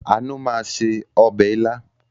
Àánú máa se ọbẹ̀ ilá.